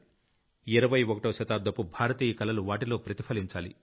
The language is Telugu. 21వ శతాబ్దపు భారతీయ కలలు వాటిలో ప్రతిఫలించాలి